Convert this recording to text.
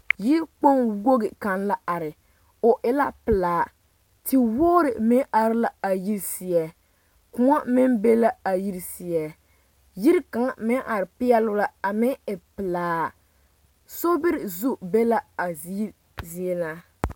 Yikpoŋ wogi kaŋ la are o e la pelaa tewogre meŋ are la a yiri seɛ koɔ meŋ be la a yiri seɛ yiri kaŋ meŋ are peɛlle la a meŋ e pelaa sobiri zu be la a yiri zie na.